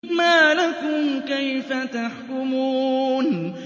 مَا لَكُمْ كَيْفَ تَحْكُمُونَ